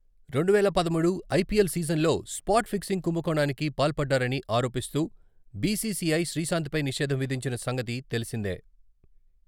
రెండువేల పదమూడు ఐపిఎల్ సీజన్లో స్పాట్ ఫిక్సింగ్ కుంభకోణానికి పాల్పడ్డారని ఆరోపిస్తూ, బిసిసిఐ శ్రీశాంతపై నిషేధం విధించిన సంగతి తెల్సిందే.